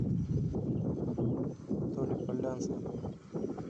толе полянском